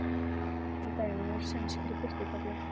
Hér er dæmi úr sænskri birtutöflu